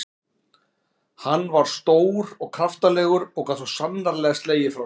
Hann var stór og kraftalegur og gat svo sannarlega slegið frá sér.